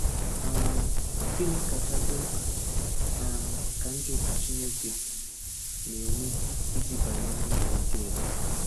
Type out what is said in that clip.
um Gịnị kacha dị mkpa um ka ndị otu Chineke na-eme iji banye n’izu ike ya?